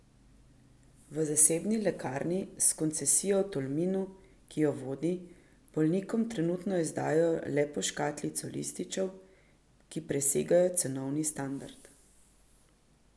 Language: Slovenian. V zasebni lekarni s koncesijo v Tolminu, ki jo vodi, bolnikom trenutno izdajajo le po škatlico lističev, ki presegajo cenovni standard.